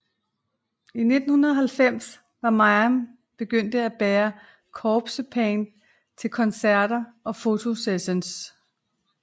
I 1990 var Mayhem begyndt at bære corpsepaint til koncerter og fotosessioner